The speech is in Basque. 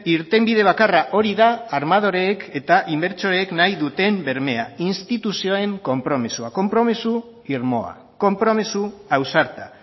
irtenbide bakarra hori da armadoreek eta inbertsoreek nahi duten bermea instituzioen konpromisoa konpromiso irmoa konpromiso ausarta